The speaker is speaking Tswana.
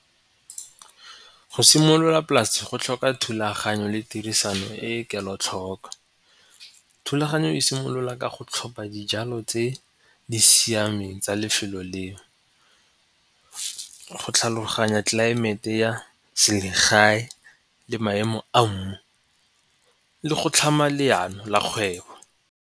Go simolola polase go tlhoka thulaganyo le tirisano e e kelotlhoko. Thulaganyo e simolola ka go tlhopha dijalo tse di siameng tsa lefelo leo go tlhaloganya tlelaemete ya selegae le maemo a mmu le go tlhama leano la kgwebo.